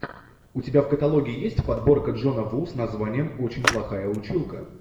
у тебя в каталоге есть подборка джона ву с названием очень плохая училка